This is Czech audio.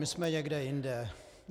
My jsme někde jinde.